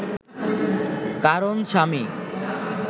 কারণ স্বামী